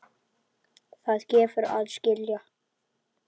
Það gefur að skilja.